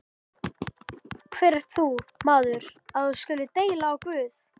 Hver ert þú, maður, að þú skulir deila á Guð?